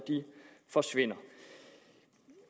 forsvinder